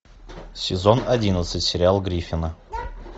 сезон одиннадцать сериал гриффины